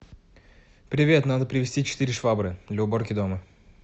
привет надо привезти четыре швабры для уборки дома